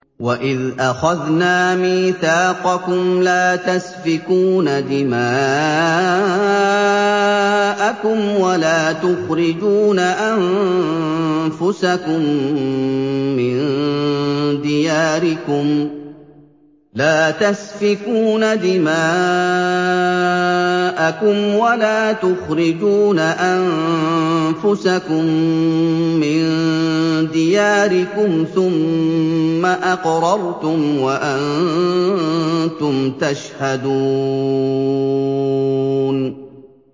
وَإِذْ أَخَذْنَا مِيثَاقَكُمْ لَا تَسْفِكُونَ دِمَاءَكُمْ وَلَا تُخْرِجُونَ أَنفُسَكُم مِّن دِيَارِكُمْ ثُمَّ أَقْرَرْتُمْ وَأَنتُمْ تَشْهَدُونَ